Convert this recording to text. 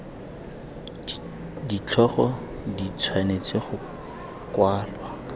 ditlhogo di tshwanetse go kwalwa